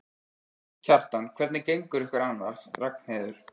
Kjartan: Hvernig gengur ykkur annars, Ragnheiður?